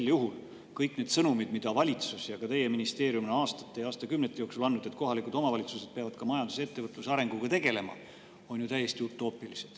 Sel juhul kõik need sõnumid, mida valitsus ja ka teie ministeerium on aastate ja aastakümnete jooksul andnud, et kohalikud omavalitsused peavad ka majanduse ja ettevõtluse arenguga tegelema, on ju täiesti utoopilised.